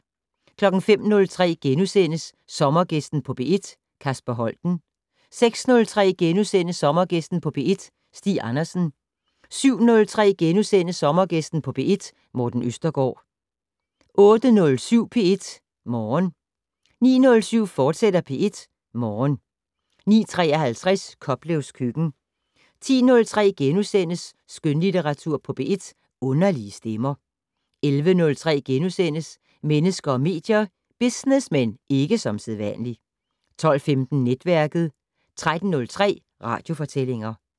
05:03: Sommergæsten på P1: Kasper Holten * 06:03: Sommergæsten på P1: Stig Andersen * 07:03: Sommergæsten på P1: Morten Østergaard * 08:07: P1 Morgen 09:07: P1 Morgen, fortsat 09:53: Koplevs køkken 10:03: Skønlitteratur på P1: Underlige stemmer * 11:03: Mennesker og medier: Business - men ikke som sædvanligt * 12:15: Netværket 13:03: Radiofortællinger